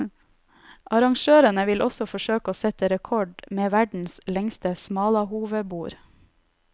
Arrangørene vil også forsøke å sette rekord med verdens lengste smalahovebord.